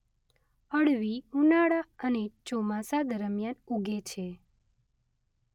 અળવી ઉનાળા અને ચોમાસા દરમ્યાન ઉગે છે.